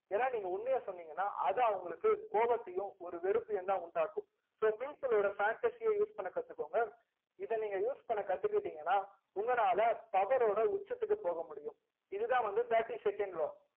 ஏனா நீங்க உண்மைய சொன்னிங்கனா அது அவங்களுக்கு கோவத்தையும் ஒரு வெறுப்பையும் தா உண்டாகும் so people ஓட fantasy ய use பண்ண கத்துகோங்க இத நீங்க use பண்ண கத்துக்கிடிங்கனா உங்களால power ஓட உச்சத்துக்கு போக முடியும் இதுதா வந்து thirty second law